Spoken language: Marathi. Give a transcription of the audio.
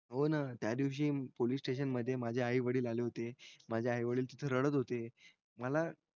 हो न त्यादिवशी POLICE STATION माझे आई वडील आले होते माझे आई वडील तिथ रडत होतेय मला